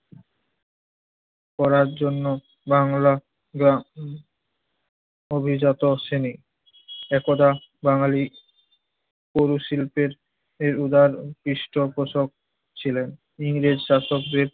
পড়ার জন্য বাংলা গ্রাম অভিজাত শ্রেণি একদা বাঙালির পৌর শিল্পের এর উদার পৃষ্ঠপোষক ছিলেন। ইংরেজ শাসকদের